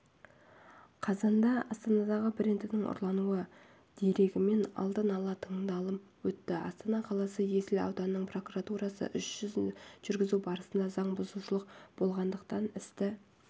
қазанда астанадағы брендінің ұрлануы дерегімен алдын ала тыңдалым өтті астана қаласы есіл ауданының прокуратурасы іс жүргізу барысында заң бұзушылық болғандықтан істі